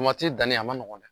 Tomati danni a ma nɔgɔn dɛ.